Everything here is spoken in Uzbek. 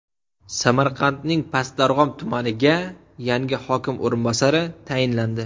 Samarqandning Past Darg‘om tumaniga yangi hokim o‘rinbosari tayinlandi.